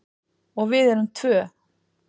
Og við erum tvö.